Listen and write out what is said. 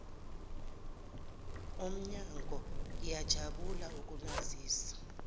omnyango ngiyajabula ukunazisa